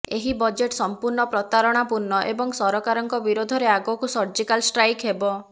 ଏହି ବଜେଟ୍ ସଂପୂର୍ଣ୍ଣ ପ୍ରତାରଣାପୂର୍ଣ୍ଣ ଏବଂ ସରକାରଙ୍କ ବିରୋଧରେ ଆଗକୁ ସର୍ଜିକାଲ ଷ୍ଟ୍ରାଇକ୍ ହେବ